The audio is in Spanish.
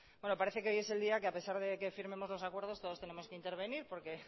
bueno parece que hoy es el día que a pesar de que firmemos los acuerdos todos tenemos que intervenir porque